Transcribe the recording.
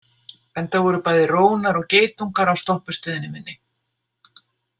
Enda voru bæði rónar og geitungar á stoppustöðinni minni.